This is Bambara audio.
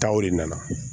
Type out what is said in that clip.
Taw de nana